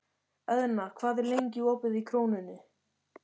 Eðna, hvað er lengi opið í Krónunni?